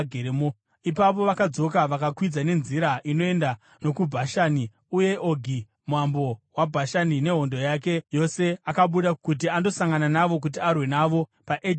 Ipapo vakadzoka vakakwidza nenzira inoenda nokuBhashani, uye Ogi mambo weBhashani nehondo yake yose akabuda kuti andosangana navo kuti arwe navo paEdhirei.